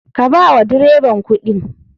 Ka bawa dreban kuɗin.